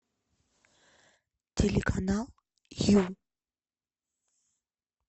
телеканал ю